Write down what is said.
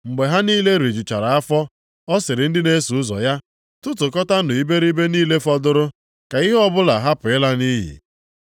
Mgbe ha niile rijuchara afọ, ọ sịrị ndị na-eso ụzọ ya, “Tụtụkọtanụ iberibe niile fọdụrụ, ka ihe ọbụla hapụ ịla nʼiyi.”